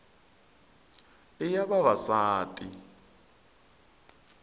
i ya vavasati